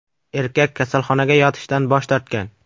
Erkak kasalxonaga yotishdan bosh tortgan.